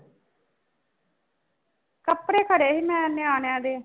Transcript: ਕੱਪੜੇ ਫੜੇ ਸੀ ਮੈਂ ਨਿਆਣਿਆਂ ਦੇ।